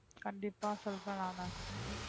கண்டிப்பா சொல்றேன் நானு